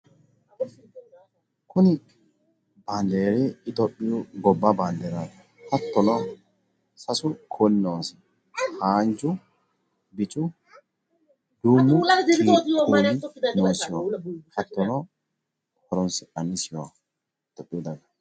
Kuni baandeeri itophiyu gobba baanderaaati. Hattono sasu dani kuuli noosi. haanju, bicu, duumu kuuli noosiho, hattono horonsi'nannisiho.